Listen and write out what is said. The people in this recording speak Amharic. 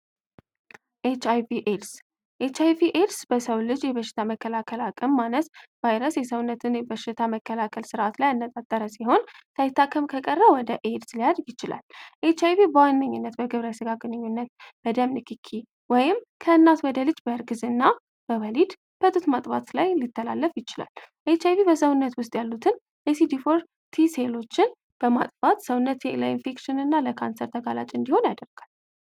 ኤች አይቪ ኤድስ ኤችአይቪ ኤድስ በሰው ልጅ የበሽታ መከላከል አቅም ማነስ ቫይረስ የሰውነትን የበሽታ መከላከል ስርዓት ላይ ያነጣጠረ ሲሆን፤ ሳይታከም ከቀረ ወደ ኤድስ ሊያድግ ይችላል። ኤች አይቪ በዋነኝነት በግብረ ስጋ ግንኙነት፣ ብደም ንክኪ ወይም ከእናት ወደ ልጅ በእርግዝና በወሊድ፣ በጡት ማጥባት ላይ ሊተላለፍ ይችላል። ኤች አይ ቪ በሰውነት ውስጥ ያሉትን የሲዲ ፎር ቲ ሴሎችን በማጥፋት ሰውነት እና ለኢንፌክሽን ለካንሰር ተጋላጭ እንዲሆን ያደርጋል።